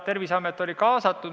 Terviseamet oli kaasatud.